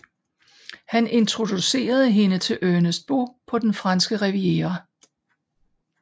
Han introducerede hende til Ernest Beaux på den franske riviera